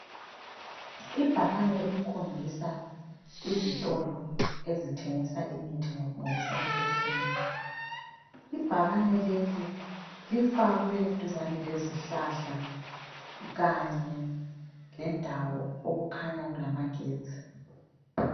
Ibhakane elikhombisa izitolo ezithengisa imithi ngokusemthethweni. Ibhakane leli lifakwe eduzane lezihlahla kanye lendawo okukhanya kulamagetsi.